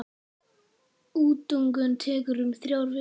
Útungun tekur um þrjár vikur.